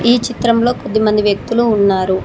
ఈ చిత్రంలో కొద్దిమంది వ్యక్తులు ఉన్నారు.